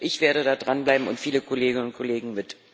Ich werde da dran bleiben und viele Kolleginnen und Kollegen mit.